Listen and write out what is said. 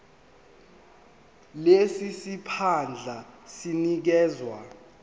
lesi siphandla sinikezwa